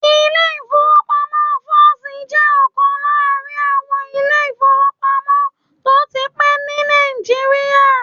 Ilé-ìfowópamọ́sí First jẹ́ ọ̀kan láàrin àwọn ilé-ìfowópamọ́sí tó ti pẹ́ ní Nàìjíríà